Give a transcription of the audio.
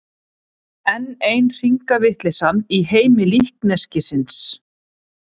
Enn ein hringavitleysan í heimi líkneskisins.